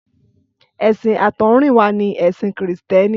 Ẹ̀sìn àtọ̀húnrìnwá ni ẹ̀sìn Kìrìtẹ́ẹ́nì.